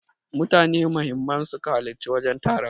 Mutane muhimman suka halarci wajen taron.